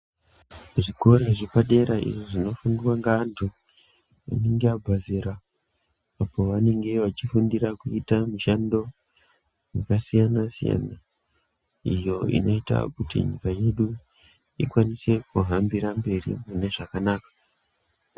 Zvikora zvepadera izvo zvinofundwa ngevantu vanenge vabve zera apo vanenge vachifundira kuita mishando yakasiyana siyana iyo inoite kuti nyika yedu ikwanise kuhambire mberi zvakanaka.